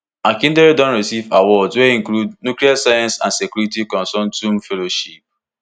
akindele don receive awards wey include nuclear science and security consortium fellowship